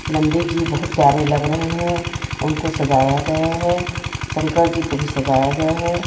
नंदी जी बहुत प्यारे लग रहे हैं उनको सजाया गया है शंकर जी को भी सजाया गया है।